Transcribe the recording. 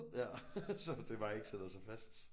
Ja så det bare ikke sætter sig fast